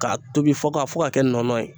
K'a tobi fo ka fo ka kɛ nɔɔnɔ ye